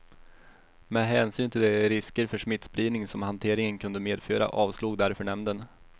Med hänsyn till de risker för smittspridning som hanteringen kunde medföra avslog därför nämnden.